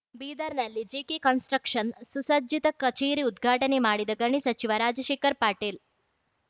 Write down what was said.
ಬೀದರ್‌ನಲ್ಲಿ GK construction ಸುಸಜ್ಜಿತ ಕಚೇರಿ ಉದ್ಘಾಟನೆ ಮಾಡಿದ ಗಣಿ ಸಚಿವ ರಾಜಶೇಖರ ಪಾಟೀಲ್‌